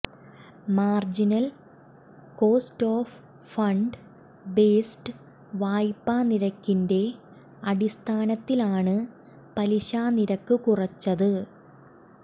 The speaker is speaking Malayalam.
marginal cost of fund based വായ്പ്പാ നിരക്കിന്റെ അടിസ്ഥാനത്തിലാണ് പലിശനിരക്ക് കുറച്ചത്